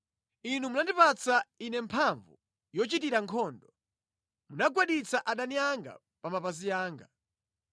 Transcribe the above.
Inu munandipatsa ine mphamvu yochitira nkhondo; munagwaditsa adani anga pa mapazi anga.